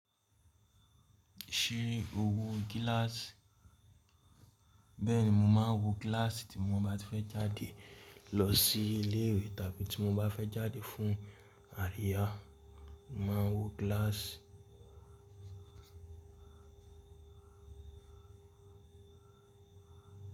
Ṣé o wo gíláàsì? Bẹ́ẹ̀ni, mo máa ń wọ gíláàsì tí mo bá fẹ́ jáde lọ sí ilé ìwé tàbí tí mo bá fẹ́ jáde fún àríyá, mo máa ń wọ gíláàsì.